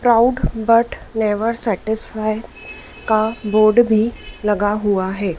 Proud but never satisfy का board भी लगा हुआ है।